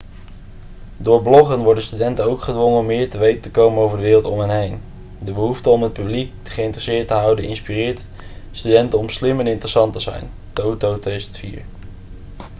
door bloggen 'worden studenten ook gedwongen om meer te weten te komen over de wereld om hen heen'. de behoefte om het publiek geïnteresseerd te houden inspireert studenten om slim en interessant te zijn toto 2004